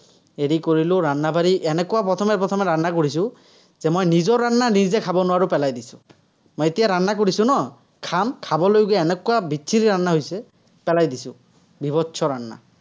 হেৰি কৰিলো, , এনেকুৱা প্ৰথমে প্ৰথমে কৰিছো, যে মোৰ নিজৰ , মই নিজে খাব নোৱাৰো, পেলাই দিছো। মই এতিয়া কৰিছো ন, খাম খাবলৈ যে এনেকুৱা পেলাই দিছো। হৈছে।